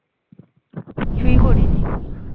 কিছুই করিনি